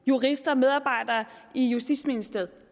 jurister og medarbejdere i justitsministeriet